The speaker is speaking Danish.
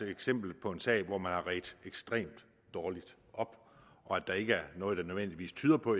eksempel på en sag hvor man har redt ekstremt dårligt op og at der ikke er noget der nødvendigvis tyder på